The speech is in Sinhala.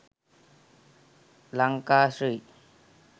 lanka sri